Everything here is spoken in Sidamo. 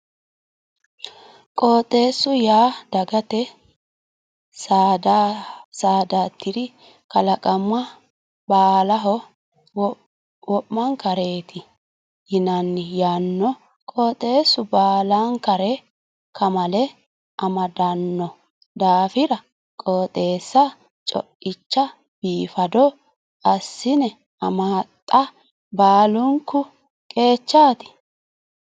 Qooxxeesu yaa dagate saadatr kalaqama baallaho wo'mankareti yinanni yaano qooxxeesu baallankare kamale amadano daafira qooxxeessa coicha biifado assine amaxa baalunku qeechati.